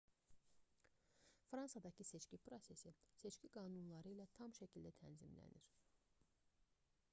fransada seçki prosesi seçki qanunları ilə tam şəkildə tənzimlənir